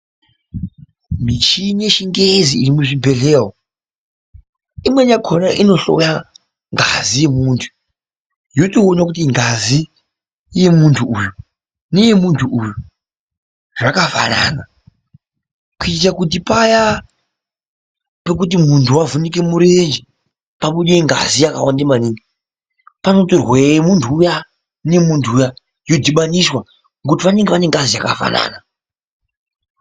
Michini yechiNgezi iri muzvibhedhleya umu imweni yakona inohloya ngazi yemuntu yotoona kuti ngazi yemuntu uyu neyemuntu uyu zvakafanana kuitire kuti paya pekuti muntu wavhunike murenje, pabude ngazi yakawande maningi, panotorwe yemuntu uya neyemuntu uya, yodhibaniswa ngokuti vanenge vane ngazi yakafanana.